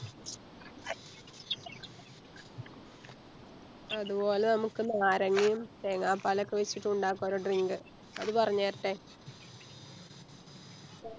അതുപോലെ ഞമ്മക്ക് നാരങ്ങയും തേങ്ങാപ്പാലൊക്കെ വെച്ചിട്ട് ഉണ്ടാക്കാ ഒരു Drink അത് പറഞ്ഞേരട്ടെ